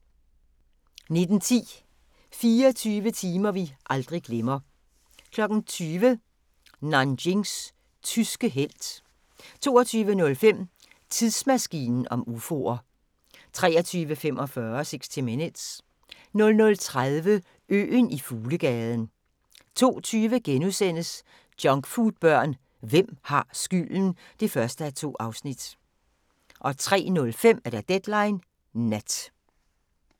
19:10: 24 timer vi aldrig glemmer 20:00: Nanjings tyske helt 22:05: Tidsmaskinen om ufoer 23:45: 60 Minutes 00:30: Øen i fuglegaden 02:20: Junkfoodbørn – hvem har skylden? (1:2)* 03:05: Deadline Nat